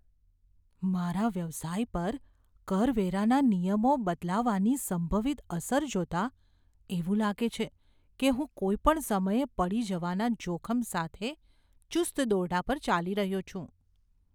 મારા વ્યવસાય પર કરવેરાના નિયમો બદલાવાની સંભવિત અસર જોતાં એવું લાગે છે કે હું કોઈ પણ સમયે પડી જવાના જોખમ સાથે ચુસ્ત દોરડા પર ચાલી રહ્યો છું.